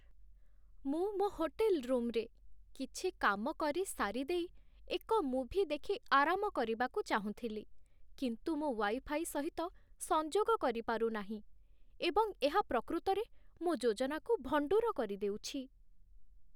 ମୁଁ ମୋ ହୋଟେଲ୍ ରୁମ୍‌ରେ କିଛି କାମ କରି ସାରିଦେଇ ଏକ ମୁଭି ଦେଖି ଆରାମ କରିବାକୁ ଚାହୁଁଥିଲି, କିନ୍ତୁ ମୁଁ ୱାଇଫାଇ ସହିତ ସଂଯୋଗ କରିପାରୁ ନାହିଁ, ଏବଂ ଏହା ପ୍ରକୃତରେ ମୋ ଯୋଜନାକୁ ଭଣ୍ଡୁର କରିଦେଉଛି।